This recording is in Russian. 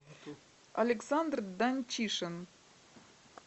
александр данчишин